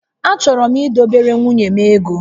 Achọrọ m idobere nwunye m ego